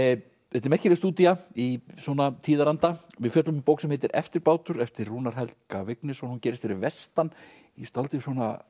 þetta er merkileg stúdía í svona tíðaranda við fjöllum um bók sem heitir eftirbátur eftir Rúnar Helga Vignisson hún gerist fyrir vestan í dálítið